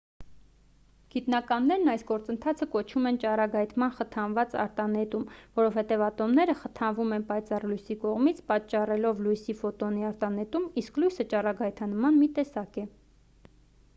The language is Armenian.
գիտնականներն այս գործընթացը կոչում են ճառագայթման խթանված արտանետում որովհետև ատոմները խթանվում են պայծառ լույսի կողմից պատճառելով լույսի ֆոտոնի արտանետում իսկ լույսը ճառագայթման մի տեսակ է